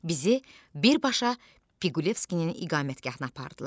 Bizi birbaşa Piqulevskinin iqamətgahına apardılar.